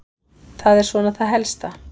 Það er svona það helsta.